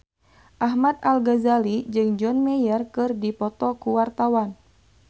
Ahmad Al-Ghazali jeung John Mayer keur dipoto ku wartawan